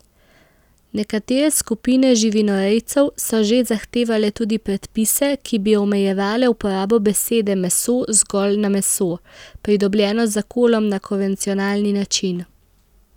Nekatere skupine živinorejcev so že zahtevale tudi predpise, ki bi omejevale uporabo besede meso zgolj na meso, pridobljeno z zakolom na konvencionalni način.